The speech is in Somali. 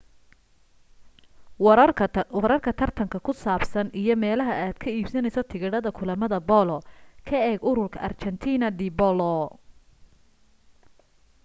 wararka tartanka ku saabsan iyo meelaha aad ka iibsanayso tigidhada kulamada boolo ka eeg ururka argentina de polo